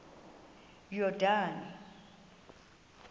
yordane